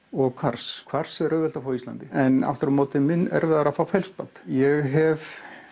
og kvars kvars er auðvelt að fá á Íslandi en aftur á móti mun erfiðara að fá ég hef